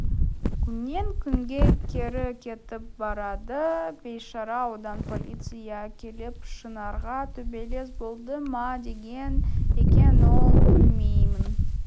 күннен-күнге кері кетіп барады бейшара одан полиция келіп шынарға төбелес болды ма деген екен ол білмеймін